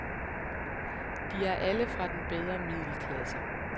De er alle fra den bedre middelklasse.